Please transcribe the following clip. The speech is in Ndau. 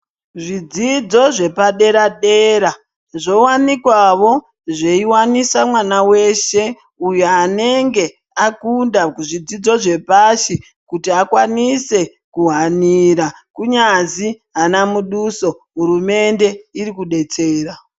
Zvidzidzo zvepadera-dera zvowanikwawo zveiwanisa mwana weshe uyo anenge akunda kuzvidzidzo zvepashi kuti akwanise kuhanira kunyazi ana muduso hurumende iri kudetsera.